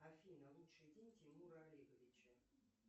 афина лучший день тимура олеговича